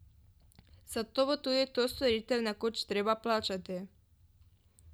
Zato bo tudi to storitev nekoč treba plačati.